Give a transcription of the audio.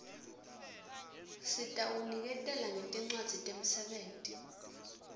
sitawuniketela ngetincwadzi temsebenti